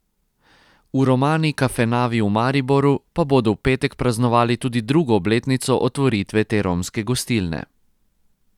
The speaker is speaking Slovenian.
V Romani kafenavi v Mariboru pa bodo v petek praznovali tudi drugo obletnico otvoritve te romske gostilne.